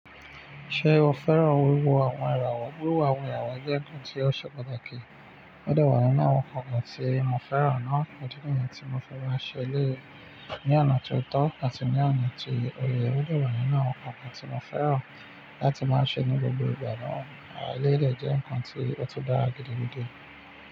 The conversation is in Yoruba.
Ṣé o fẹ́ràn wíwo àwọn ìràwọ̀? Wíwo àwọn ìràwọ̀ jẹ́ ǹkan tí ó ṣe pàtàkì. Ó dẹ wa ninu àwọn ǹkan tí mo fẹ́ràn náà, idí níyi tí mo fi máa ń ṣe eléyi ní ọ̀nà ti ó tọ́ àti ní ọ̀nà tí ó yẹ. Ó dẹ̀ wa ninu àwọn ǹkan tí mo fẹ́ràn láti máa ń ṣe ní gbogbo ìgbà náà, eleyi dẹ̀ jẹ́ ǹkan tí ó tun dára gidi gidi.